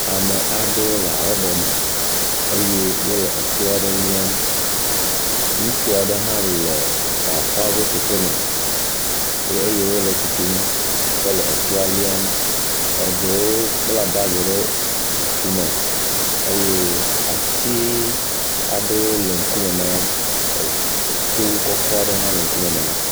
Ame aɖewo le habobo me eye wole eto aɖe liam. Ŋutsu aɖe hã le bafɔwo ƒe keke me eye wole tutum kɔ le toa liam. Eɖewo kpla bagi ɖe tume eye ati aɖewo le ŋkume na wo. Eto kɔkɔ aɖe hã le ŋkume na wo.